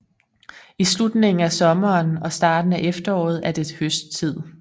I slutningen af sommeren og starten af efteråret er det høsttid